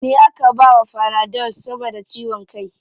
Ni aka bawa fanadol saboda ciwon kai.